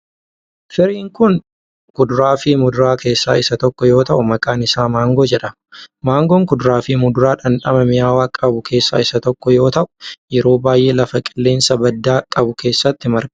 Firiin kun kuduraa fi muduraa keessaa isa tokko yoo ta'u, maqaan isaa maangoo jedhama. Maangoon kuduraa fi muduraa dhandhama mi'aawaa qabu keessaa isa tokko yoo ta'u, yeroo baay'ee lafa qilleensa baddaa qabu keessatti marga.